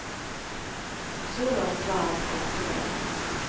Så långt var allt gott och väl.